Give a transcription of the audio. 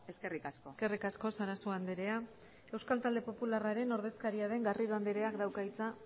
eskerrik asko eskerrik asko sarasua andrea euskal talde popularraren ordezkaria den garrido andreak dauka hitza